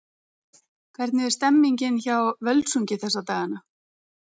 Hvernig er stemningin hjá Völsungi þessa dagana?